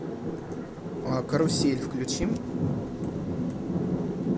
карусель включи